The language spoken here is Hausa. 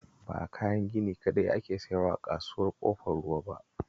Ba kayan gini kaɗai ake sayarwa a Kasuwar Ƙofar Ruwa ba